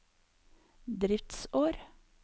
driftsår